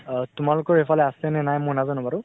আহ তোমালোকৰ সেইফালে আছে নে মই নাজানো বাৰু।